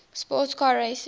sports car racing